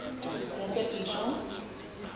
yasebisho